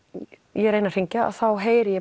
ég reyni að hringja heyri ég